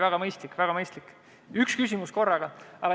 See on väga mõistlik, üks küsimus korraga.